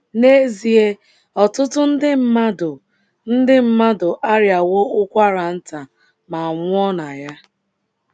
N’ezie, ọtụtụ ndị mmadụ ndị mmadụ arịawo ụkwara nta ma nwụọ na ya.